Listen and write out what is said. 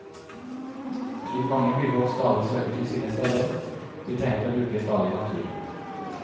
Slik mange byfolk stadig søker til sine steder, vi trenger og bruker stadig natur.